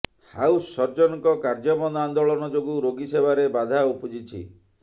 house ସର୍ଜନଙ୍କ କାର୍ଯ୍ୟବନ୍ଦ ଆନ୍ଦୋଳନ ଯୋଗୁଁ ରୋଗୀ ସେବାରେ ବାଧା ଉପୁଜିଛି